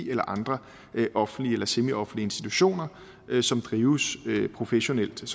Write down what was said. eller andre offentlige eller semioffentlige institutioner som drives professionelt og